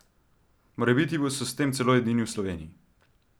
Morebiti so s tem celo edini v Sloveniji?